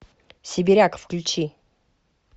сибиряк включи